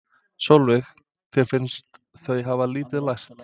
Sólveig: Þér finnst þau hafa lítið lært?